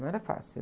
Não era fácil.